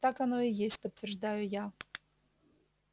так оно и есть подтверждаю я